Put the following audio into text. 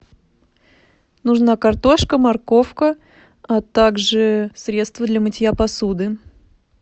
нужна картошка морковка а так же средство для мытья посуды